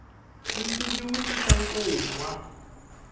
ntsuvi wu tisa nkungwa